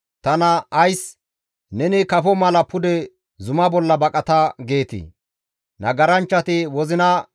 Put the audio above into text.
Nagaranchchati wozina geeshshata dhuman caddanaas bantta wondafe dafi oykkida.